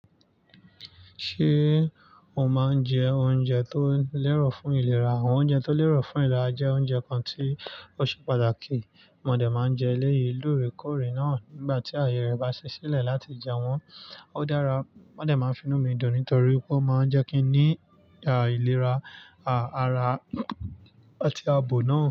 Ṣé o máa ń jẹ oúnjẹ tó lẹ́rọ̀ fún ìlera? Àwọn oúnjẹ tó lẹ́rọ̀ fún ìlera jẹ́ oúnjẹ kan tí ó ṣe pàtàkì. Mọ̀dẹ̀ máa ń jẹ éléyìí lóore kóòrè náà nígbà tí ààyè rẹ̀ bá ṣe sílẹ̀ láti jẹ wọ́n. Ó dára. Mọ̀dẹ̀ máa ń fi inú mi dùn nítorí pé ó máa ń jẹ́ kí n ní a ìlera àrà àti abo náà.